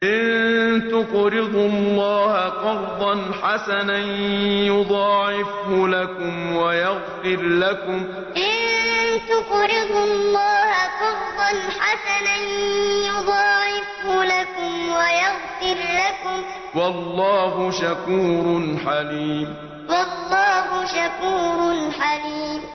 إِن تُقْرِضُوا اللَّهَ قَرْضًا حَسَنًا يُضَاعِفْهُ لَكُمْ وَيَغْفِرْ لَكُمْ ۚ وَاللَّهُ شَكُورٌ حَلِيمٌ إِن تُقْرِضُوا اللَّهَ قَرْضًا حَسَنًا يُضَاعِفْهُ لَكُمْ وَيَغْفِرْ لَكُمْ ۚ وَاللَّهُ شَكُورٌ حَلِيمٌ